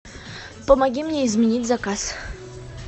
помоги мне изменить заказ